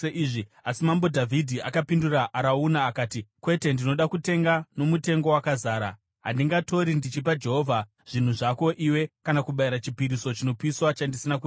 Asi mambo Dhavhidhi akapindura Arauna akati, “Kwete, ndinoda kutenga nomutengo wakazara. Handingatori ndichipa Jehovha zvinhu zvako iwe kana kubayira chipiriso chinopiswa chandisina kuripira.”